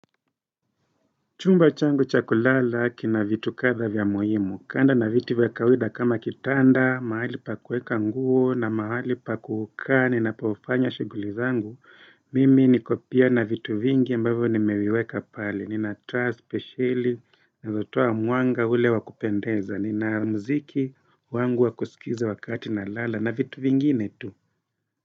Chumba changu cha kulala kina vitu kadha vya muhimu, kando na vitu vya kawaida kama kitanda, mahali pa kuweka nguo na mahali pa kukaa, ninapofanya shughuli zangu, mimi niko pia na vitu vingi ambavyo nimeweweka pale, nina taa, spesheli nazotoa mwanga ule wa kupendeza, nina mziki wangu wa kusikiza wakati nalala na vitu vingine tu.